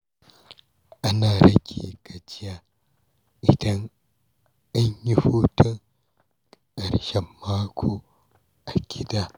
Ana iya rage gajiya idan an yi hutun ƙarshen mako a gida.